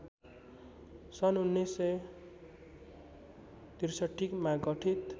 सन् १९६३ मा गठित